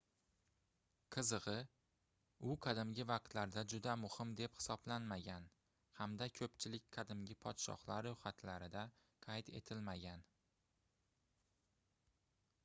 qizigʻi u qadimgi vaqtlarda juda muhim deb hisoblanmagan hamda koʻpchilik qadimgi podshohlar roʻyxatlarida qayd etilmagan